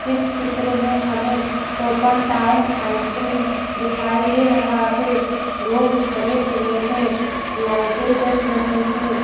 इस चित्र में हमें टोप एन टाउन आइसक्रीम दिखाई दे रहा है लोग खड़े हुए हैं लाइटें जल रही हैं।